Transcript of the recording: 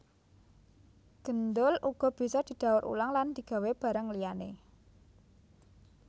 Gendul uga bisa didaur ulang lan digawé barang liyané